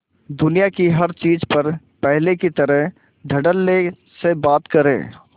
दुनिया की हर चीज पर पहले की तरह धडल्ले से बात करे